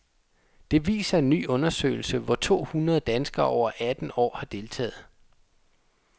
Det viser en ny undersøgelse, hvor to hundrede danskere over atten år har deltaget.